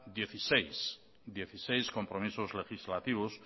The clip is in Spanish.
dieciséis compromisos legislativos